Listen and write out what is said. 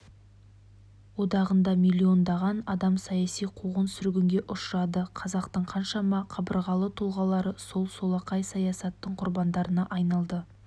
одағында миллиондаған адам саяси қуғын-сүргінге ұшырады қазақтың қаншама қабырғалы тұлғалары сол солақай саясаттың құрбандарына айналды